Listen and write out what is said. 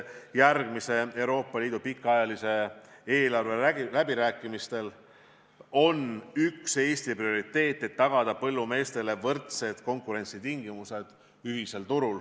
Järgmise Euroopa Liidu pikaajalise eelarve läbirääkimistel on üks Eesti prioriteete, et tagada põllumeestele võrdsed konkurentsitingimused ühisel turul.